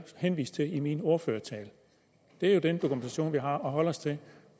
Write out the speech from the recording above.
henviste til i min ordførertale det er den dokumentation vi har at holde os til